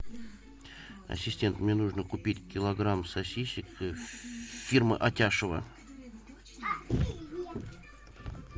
ассистент мне нужно купить килограмм сосисок фирмы атяшево